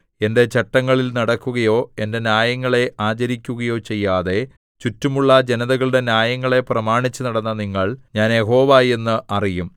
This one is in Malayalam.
എന്റെ ചട്ടങ്ങളിൽ നടക്കുകയോ എന്റെ ന്യായങ്ങളെ ആചരിക്കുകയോ ചെയ്യാതെ ചുറ്റുമുള്ള ജനതകളുടെ ന്യായങ്ങളെ പ്രമാണിച്ചുനടന്ന നിങ്ങൾ ഞാൻ യഹോവ എന്ന് അറിയും